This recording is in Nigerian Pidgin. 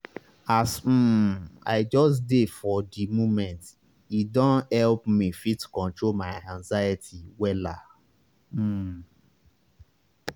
as um i just dey for di momente don help me fit control my anxiety wella. um